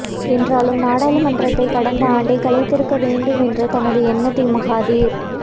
என்றாலும் நாடாளுமன்றத்தைக் கடந்த ஆண்டே கலைத்திருக்க வேண்டும் என்ற தமது எண்ணத்தை மகாதீர்